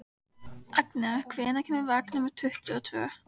Agnea, hvenær kemur vagn númer tuttugu og tvö?